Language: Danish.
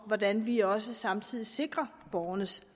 og hvordan vi også samtidig sikrer borgernes